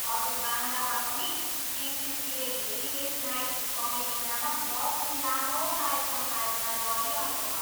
हजुर बान्द्रामा पनि टिसिसीले भेरी लेट नाइट कमेडी नामक दस दिन लामो कार्यक्रम आयोजना गरिरहेको छ।